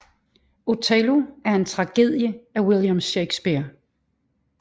Othello er en tragedie af William Shakespeare